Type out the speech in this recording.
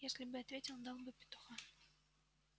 если бы ответил дал бы петуха